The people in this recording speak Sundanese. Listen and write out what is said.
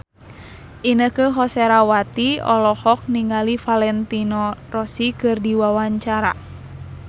Inneke Koesherawati olohok ningali Valentino Rossi keur diwawancara